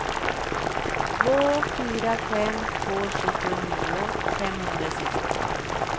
två fyra fem två sjuttionio femhundrasextiofem